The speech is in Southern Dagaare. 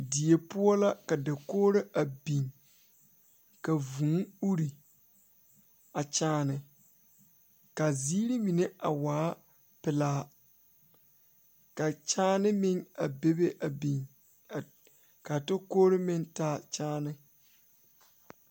Die poɔ la ka dakogro a biŋ ka vuu ure a kyaane kaa zeere mine a waa pilaa ka kyaane meŋ a bebe a be kaa tokore meŋ taa kyaane.